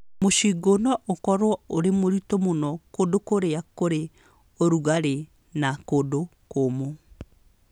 Mĩcingũ no ĩkorũo ĩrĩ mĩritũ mũno kũndũ kũrĩa kũrĩ ũrugarĩ na kũndũ kũũmũ.